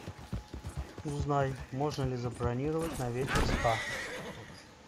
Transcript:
узнай можно ли забронировать на вечер спа